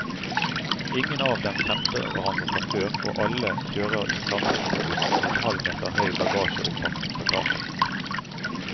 Ingen av dem kjente hverandre fra før, og alle kjører i samme minibuss med en halv meter høy bagasjeoppakning på taket.